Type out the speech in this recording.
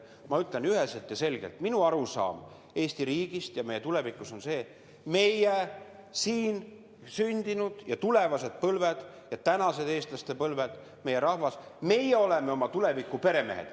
Ma ütlen üheselt ja selgelt, et minu arusaam Eesti riigist ja meie tulevikust on selline: meie, siin sündinud, tulevased põlved ja tänased eestlaste põlved, meie rahvas, meie oleme oma tuleviku peremehed.